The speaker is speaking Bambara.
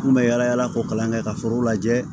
N kun bɛ yalayala k'o kalan kɛ ka foro lajɛ